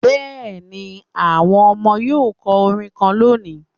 Yesm the children will sing a chant today